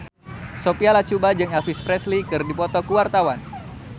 Sophia Latjuba jeung Elvis Presley keur dipoto ku wartawan